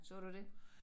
Så du det?